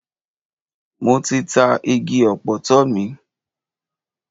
Mo ti ta igi ọ̀pọ̀tọ́ mi.